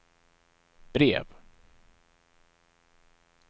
brev